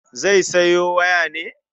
Zai sayo waya ne?